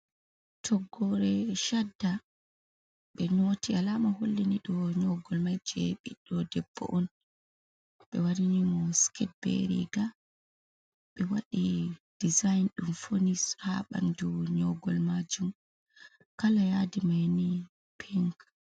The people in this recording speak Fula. Toggore chadda, be nyoti, alama hollini dou nyogol mai je biɗdo debbo on, be wanni mo sikete be riga, be waɗi dizayin ɗum fauni ha ɓandu nyogol majuum, kala yadi maini pink.